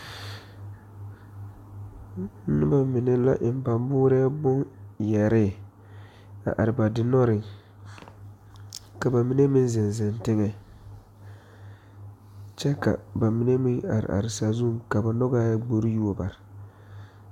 Noba mine la su ba boorɔ boŋ suure a are ba diŋdannɔɔre pʋɔ kyɛ ka ba mine meŋ ziŋ teŋe. Ba mine meŋ are la sazu pʋɔ kyɛ ka ba nyɔg bgore yuo bare.